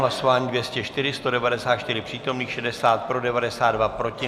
Hlasování 204, 194 přítomných, 60 pro, 92 proti.